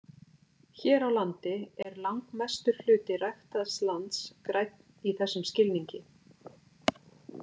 Hér á landi er langmestur hluti ræktaðs lands grænn í þessum skilningi.